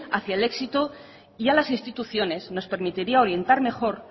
hacia el éxito y a las instituciones nos permitiría orientar mejor